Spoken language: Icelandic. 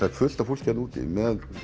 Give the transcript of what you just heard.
er fullt af fólki þarna úti með